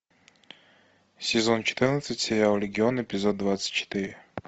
сезон четырнадцать сериал легион эпизод двадцать четыре